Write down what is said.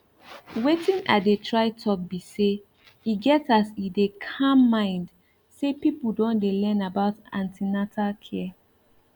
wetin i dey try talk be say e get as e dey calm mind say people don dey learn about an ten atal care